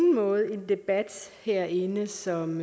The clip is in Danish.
debat herinde som